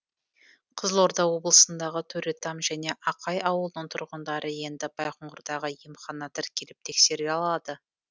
қызылорда облысындағы төретам және ақай ауылының тұрғындары енді байқоңырдағы емханаға тіркеліп тексеріле алады